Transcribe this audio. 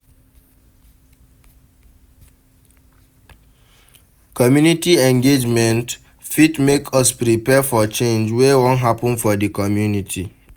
Community engagement fit make us prepare for change wey wan happen for the community